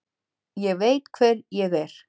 Ég veit hver ég er.